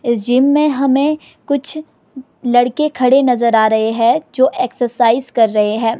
इस जिम में हमें कुछ लड़के खड़े नजर आ रहे हैं जो एक्सरसाइज कर रहे हैं।